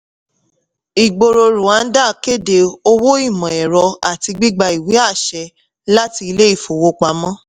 ìgbòòrò rwanda kéde owó ìmò-ẹ̀rọ àti gbígba ìwé àṣẹ láti ilé-ìfowópamọ́.